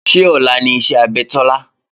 Ṣé ọ̀la ni iṣẹ́ abẹ Tọ́lá?